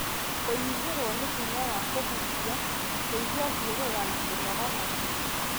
Kũnyihĩrwo nĩ hinya wa kũhuhia, kũigua gĩthiũrũra, na kũnoga narua.